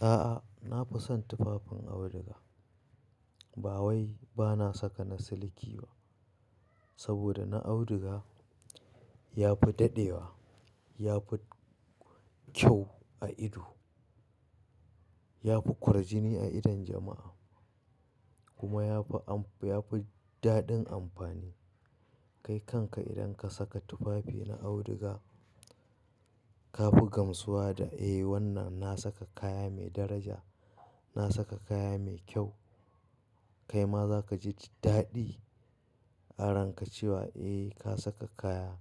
A'a, na fi son tufafin auduga. Bawai ba na saka na siliki ba saboda na auduga ya fi dadewa, ya fi kyau a ido, ya fi kwarjini a idon jama'a kuma ya fi, ya fi daɗin amfani. Kai kanka idan ka saka tufafi na auduga ka fi gamsuwa da "Eh, wannan na saka kaya mai daraja, na saka kaya mai kyau." Kai ma za ka ji daɗi aranƙa ce wa, "Eh, ka saka kaya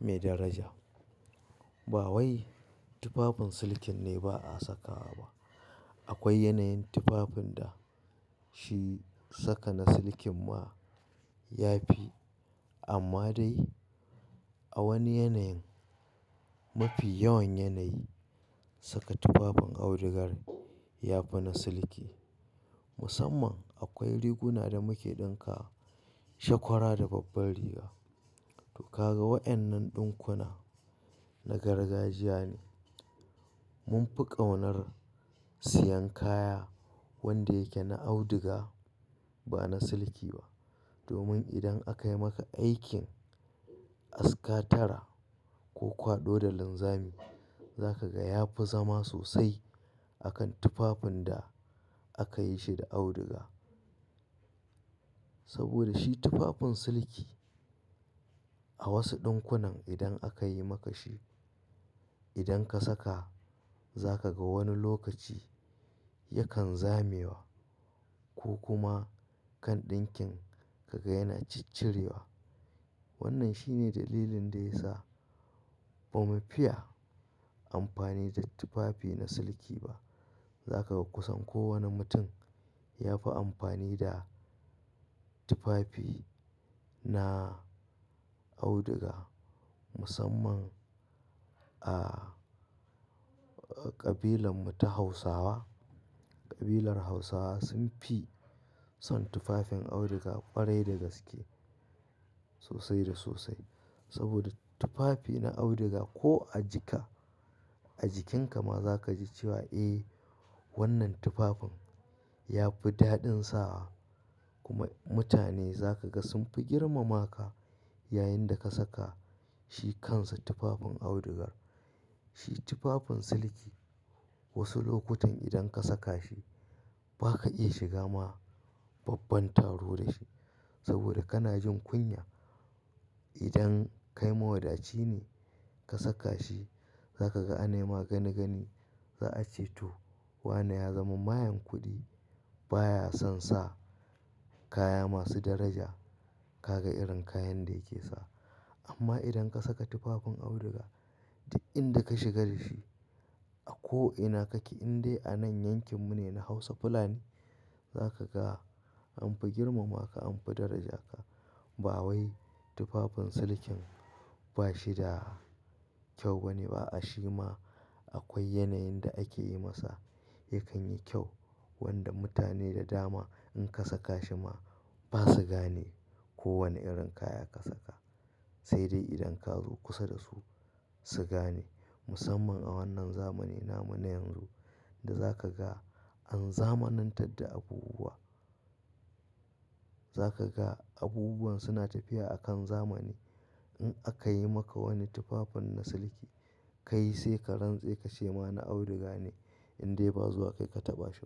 mai daraja." Bawai tufafin silikin ne ba a sakawa ba. Akwai yanayin tufafin da shi saka na siliki ma ya fi amma dai a wani yanayin. Mafi yawan yanayi saka tufafin audugar ya fi na siliki. Musamman akwai riguna da muke ɗinka shakwara da babbar riga. To ka ga waƴannan ɗinkuna na gargajiya ne. Mun fi ƙaunar siyan kaya wanda yake na auduga ba na siliki ba domin idan akayi maka aikin askatara ko kwado da linzami za ka ga ya fi zama sosai akan tufafin da aka yi shi da auduga. Saboda shi tufafin siliki a wasu ɗinkunan idan aka yi maka shi, idan ka saka za ka ga wani lokaci yakan zamewa ko kuma kan ɗinkin ka ga yana ciccirewa. Wannan shine dalilin da ya sa ba mu fiya amfani da tufafi na siliki ba. Za ka ga kusan kowane mutum ya fi amfani da tufafi na auduga musamman a ƙabilan mu ta Hausawa. Ƙabilar Hausawa sun fi son tufafin auduga ƙwarai da gaske sosai da sosai. Saboda tufafi na auduga ko a jika, a jikinka ma za ka ji cewa "Eh, wannan tufafin ya fi daɗin sawa." Kuma mutane za ka ga sun fi girmama ka yayin da ka saka shi kansa tufafin audugar. Shi tufafin siliki wasu lokutan idan ka saka shi ba ka iya shiga ma babban taro da shi saboda kana jin kunya. Idan kai mawadaci ne ka saka shi za ka ga anayi ma gani gani za a ce to wane ya zama mayan kuɗi baya son sa kaya masu daraja. Ka ga irin kayan da yake sa. Amma idan ka saka tufafin auduga duk inda ka shiga da shi a ko ina kake in dai a nan yankin mu ne na Hausa fulani za ka ga an fi girmama ka, an fi daraja ka. Bawai tufafin silikin ba shi da kyau ba ne ba a'a shi ma akwai yanayin da ake yi masa yakan yi kyau wanda mutane da dama in ka saka shi ma ba su gane ko wane irin kaya ka saka. Sai dai idan ka zo kusa da su su gane musamman a wannan zamanin namu na yanzu da za ka ga an zamanantar da abubuwa. Za ka ga abubuwan suna tafiya akan zamani. In aka yi maka wani tufafin na siliki kai sai ka rantse ka ce ma na auduga ne indai ba zuwa kai ka taɓa shi.